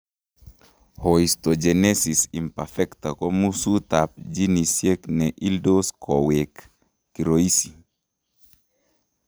Osteogenesis imperfecta ko musuut ab genesiek ne ildos koweek kiroisi